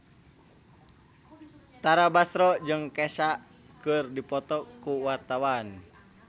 Tara Basro jeung Kesha keur dipoto ku wartawan